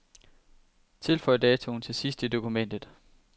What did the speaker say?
Tilføj datoen til sidst i dokumentet.